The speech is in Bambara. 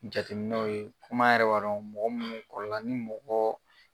jateminɛw ye kum'a' yɛrɛ b'a dɔn mɔgɔ munnu kɔrɔla ni mɔgɔ